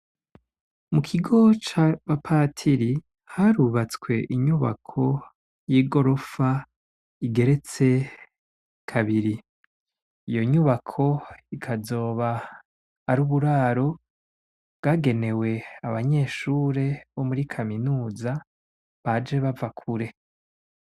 Mu kigo cabapatiri harubatswe inyubako y'i gorofa igeretse kabiri, iyo nyubako ikazoba ari uburaro bwagenewe abanyeshure bo muri kaminuza baje bava kure.